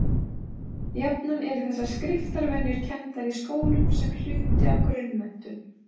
Jafnan eru þessar skriftarvenjur kenndar í skólum sem hluti af grunnmenntun.